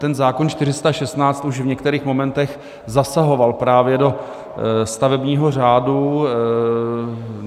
Ten zákon 416 už v některých momentech zasahoval právě do stavebního řádu.